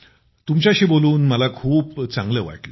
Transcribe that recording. तुमच्याशी बोलून मला खूप चांगले वाटले